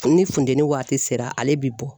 Ni funteni waati sera ale bɛ bɔ.